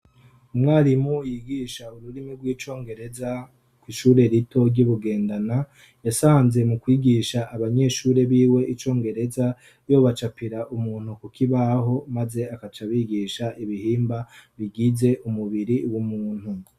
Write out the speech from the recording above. umwarimu yigisha ururimi rw'icongereza ku shure rito ryibugendana yasanze mu kwigisha abanyeshure biwe icongereza yo bacapira umuntu kukibaho maze akacabigisha ibihimba bigize umubiri w'umuntu